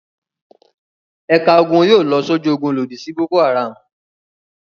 Ẹ̀ka ogun yóò lọ sójú ogun lòdì sí Boko-Haram.